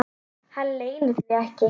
Hann leynir því ekki.